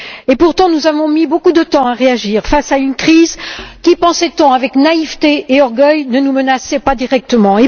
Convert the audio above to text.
Et pourtant nous avons mis beaucoup de temps à réagir face à une crise qui, pensait on avec naïveté et orgueil, ne nous menaçait pas directement.